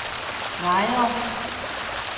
Lejre